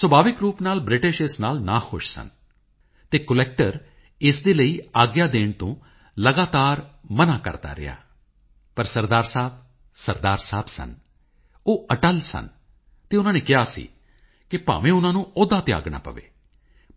ਸੁਭਾਵਿਕ ਰੂਪ ਨਾਲ ਬ੍ਰਿਟਿਸ਼ ਇਸ ਨਾਲ ਨਾਖੁਸ਼ ਸਨ ਅਤੇ ਕਲੈਕਟਰ ਇਸ ਦੇ ਲਈ ਆਗਿਆ ਦੇਣ ਤੋਂ ਲਗਾਤਾਰ ਮਨ੍ਹਾ ਕਰਦਾ ਰਿਹਾ ਪਰ ਸਰਦਾਰ ਸਾਹਿਬ ਸਰਦਾਰ ਸਾਹਿਬ ਸਨ ਉਹ ਅਟਲ ਸਨ ਅਤੇ ਉਨ੍ਹਾਂ ਨੇ ਕਿਹਾ ਸੀ ਕਿ ਭਾਵੇਂ ਉਨ੍ਹਾਂ ਨੂੰ ਅਹੁਦਾ ਤਿਆਗਣਾ ਪਵੇ